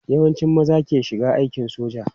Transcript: Yawancin maza ke shiga aikin soja.